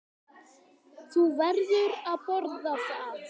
Þú verður að boða það.